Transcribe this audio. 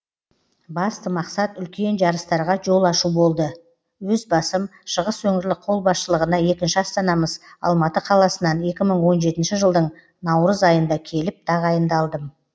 басты мақсат үлкен жарыстарға жол ашу болды өз басым шығыс өңірлік қолбасшылығына екінші астанамыз алматы қаласынан екі мың он жетінші жылдың наурыз айында келіп тағайындалдым